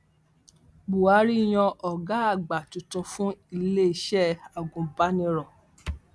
buhari yan ọgá àgbà tuntun fún iléeṣẹ agùnbàníró